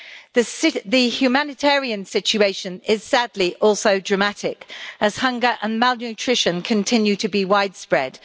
The humanitarian situation is sadly also dramatic as hunger and malnutrition continue to be widespread.